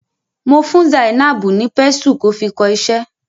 Mo fún Zainab ni pésù ki o fi kọ iṣẹ́.